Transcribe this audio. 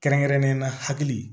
Kɛrɛnkɛrɛnnenyala hakili